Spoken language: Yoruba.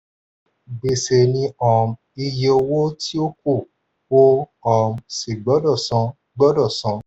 gbèsè ni um iye tí o kù o um sì gbọdọ̀ san. gbọdọ̀ san.